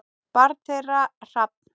Barn þeirra: Hrafn.